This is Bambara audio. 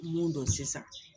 Mun don sisan